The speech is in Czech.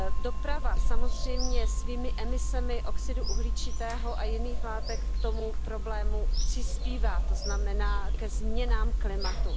Doprava samozřejmě svými emisemi oxidu uhličitého a jiných látek k tomu problému přispívá, to znamená ke změnám klimatu.